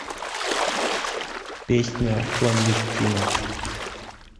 песня кландестина